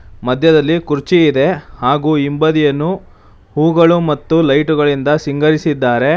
ಮಧ್ಯದಲ್ಲಿ ಕುರ್ಚಿ ಇದೆ ಹಾಗು ಹಿಂಬದಿಯನ್ನು ಹೂಗಳು ಮತ್ತು ಲೈಟ್ ಗಳಿಂದ ಸಿಂಗರಿಸಿದ್ದಾರೆ.